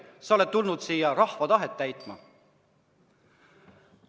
Sa oled tulnud siia rahva tahet täitma.